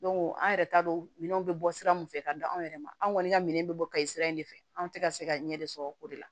an yɛrɛ t'a dɔn minɛnw be bɔ sira min fɛ ka da anw yɛrɛ ma anw kɔni ka minɛn bɛ bɔ kayi sira in de fɛ anw tɛ ka se ka ɲɛ de sɔrɔ o de la